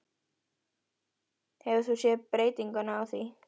Hefur þú séð breytingu á því?